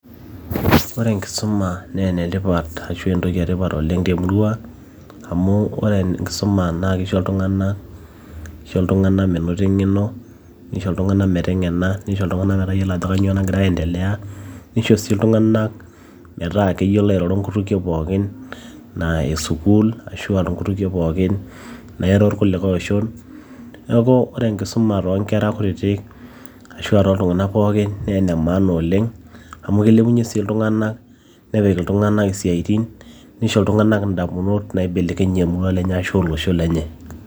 ore enkisuma naa enetipat ashu entoki etipat oleng temurua amu ore enkisuma naa kisho iltung'anak, kisho iltung'anak menoto eng'eno nisho iltung'anak meteng'ena nisho iltung'anak metayiolo ajo kanyio nagira ae endelea nisho sii iltung'anak metaa keyiolo airoro nkutukie pookin naa eh sukuul ashua nkutukie pookin nairo irkulikae oshon neeku ore enkisuma toonkera kutitik ashua toltung'ana pookin naa ene maana oleng amu kilepunyie sii iltung'anak nepik iltung'anak isiaitin nisho iltung'anak indamunot naibelekenyie emurua lenye ashu olosho lenye.